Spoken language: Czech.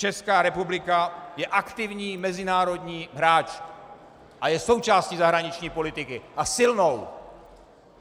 Česká republika je aktivní mezinárodní hráč a je součástí zahraniční politiky, a silnou!